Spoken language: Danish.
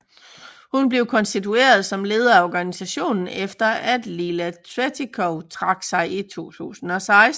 Hun blev konstitueret som leder af organisationen efter at Lila Tretikov trak sig i 2016